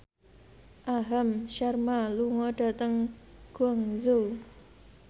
Aham Sharma lunga dhateng Guangzhou